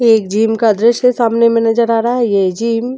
एक जिम का दृश्य सामने में नजर आ रहा है ये जिम --